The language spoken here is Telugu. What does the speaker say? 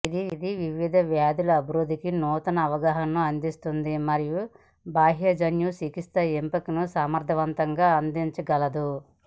ఇది వివిధ వ్యాధుల అభివృద్ధికి నూతన అవగాహనను అందిస్తుంది మరియు బాహ్యజన్యు చికిత్స ఎంపికలను సమర్థవంతంగా అందించగలదు